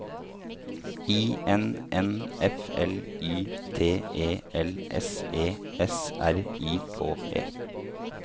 I N N F L Y T E L S E S R I K E